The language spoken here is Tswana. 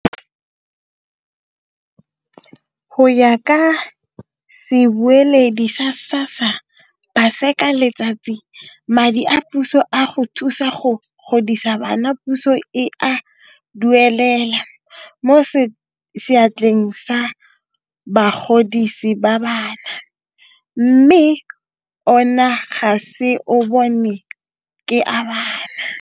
Go ya ka sebueledi sa SASSA Paseka Letsatsi, madi a puso a go thusa go godisa bana puso e a duelela mo seatleng sa bagodisi ba bana, mme ona ga se a bona ke a bana.